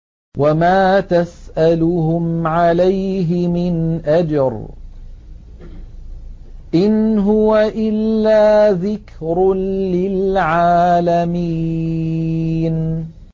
وَمَا تَسْأَلُهُمْ عَلَيْهِ مِنْ أَجْرٍ ۚ إِنْ هُوَ إِلَّا ذِكْرٌ لِّلْعَالَمِينَ